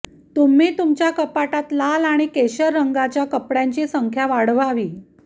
तुम्ही तुमच्या कपाटात लाल आणि केशर रंगाच्या कपड्यांची संख्या वाढवावी